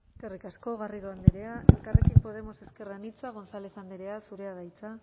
eskerrik asko garrido andrea elkarrekin podemos ezker anitza gonzález andrea zurea da hitza